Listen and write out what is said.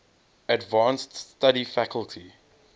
advanced study faculty